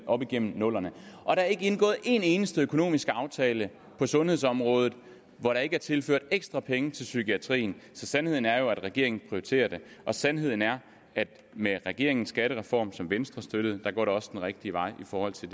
op igennem nullerne og der er ikke indgået en eneste økonomisk aftale på sundhedsområdet hvor der ikke er tilført ekstra penge til psykiatrien sandheden er jo at regeringen prioriterer det sandheden er at med regeringens skattereform som venstre støttede går det også den rigtige vej i forhold til